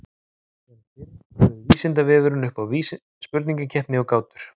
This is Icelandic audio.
Sem fyrr bauð Vísindavefurinn upp á spurningakeppni og gátur.